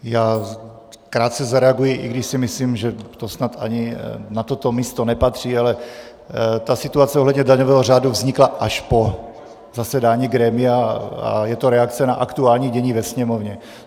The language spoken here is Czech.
Já krátce zareaguji, i když si myslím, že to snad ani na toto místo nepatří, ale ta situace ohledně daňového řádu vznikla až po zasedání grémia a je to reakce na aktuální dění ve Sněmovně.